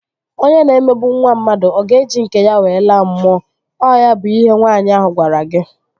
Onye na-emegbu nwa mmadụ, ọ ga-eji nke ya wee laa mmụọ? Ọ ya bụ ihe nwaanyị ahu gwara gị?